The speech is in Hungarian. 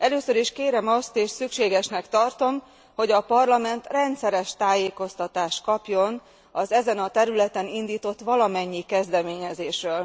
Először is kérem azt, és szükségesnek tartom, hogy a Parlament rendszeres tájékoztatást kapjon az ezen a területen indított valamennyi kezdeményezésről.